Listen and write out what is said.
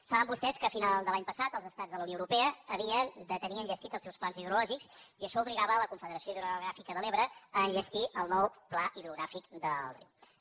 saben vostès que a finals de l’any passat els estats de la unió europea havien de tenir enllestits els seus plans hidrològics i això obligava a la confederació hidrogràfica de l’ebre a enllestir el nou pla hidrogràfic de l’ebre